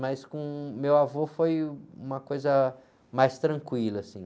Mas com meu avô foi uma coisa mais tranquila, assim.